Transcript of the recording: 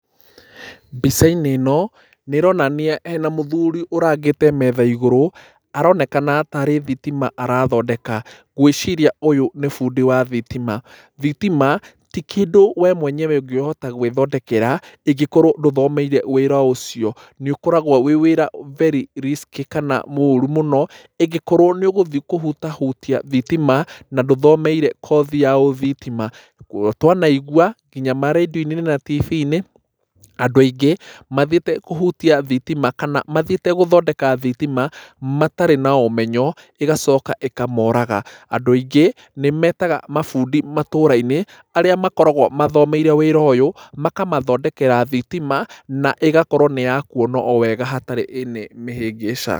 Mbica-inĩ ĩno nĩ ĩronania hena mũthuri ũrangĩte metha igũrũ, aronekana taarĩ thitima arathondeka. Ngwĩciria ũyũ nĩ bundi wa thitima. Thitima ti kĩndũ we mwenyewe ũngĩhota gwĩthondekera ĩngĩkorwo ndũthomeire wĩra ũcio. Nĩ ũkoragwo wĩ wĩra very risky kana mũũru mũno, ĩngĩkorwo nĩ ũgũthiĩ kũhutahutia thitima na ndũthomeire kothi ya ũthitima. Guo twanaigua nginya ma rendio-inĩ na TV-inĩ andũ aingĩ mathiĩte kũhutia thitima kana mathiĩte gũthondeka thitima, matarĩ na ũmenyo, ĩgacoka ĩkamoraga. Andũ aingĩ nĩ metaga mabundi matũra-inĩ arĩa makoragwo mathomeire wĩra ũyũ makamathondekera thitima, na ĩgakorwo nĩ ya kuona o wega hatarĩ any mĩhĩngĩca.